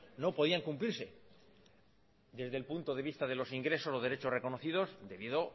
no podían cumplirse desde el punto de vista de los ingresos y los derechos reconocidos debido